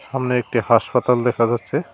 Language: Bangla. সামনে একটি হাসপাতাল দেখা যাচ্ছে।